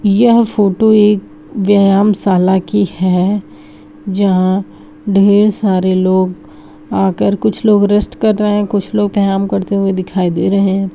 यह फोटो एक व्यायामशाला की है जहां ढेर सारे लोग आकर कुछ लोग रेस्ट कर रहे है कुछ लोग व्यायाम करते हुए दिखाई दे रहे है।